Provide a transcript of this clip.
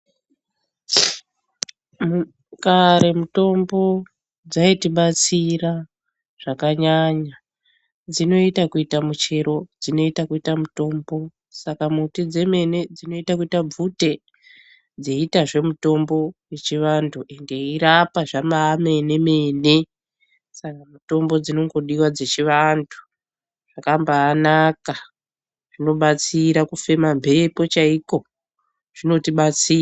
Kare mitombo dzayitibatsira zvakanyanya. Dzinoita kuita muchero ,dzinoita kuita mutombo. Saka muti dzemene dzinoyita kuita bvute, dzeyiitazve mitombo yechivantu, dzeyirapa zvamayimene-mene, saka mutombo dzinongodiwa dzechivantu. Dzakambaanaka ,zvinobatsira kufema mbepo chaiko, zvinotibatsira.